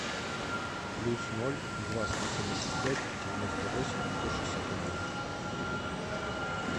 плюс ноль два сто семьдесят пять девяносто восемь сто шестьдесят один